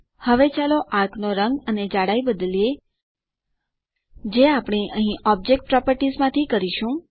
હવે ચાલો આર્ક નો રંગ અને જાડાઈ બદલીએ જે આપણે અહીં ઓબ્જેક્ટ પ્રોપર્ટીઝ થી જોડ્યું હતું